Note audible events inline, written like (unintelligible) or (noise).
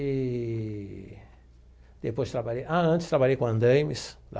Eee depois trabalhei... Ah, antes trabalhei com. (unintelligible)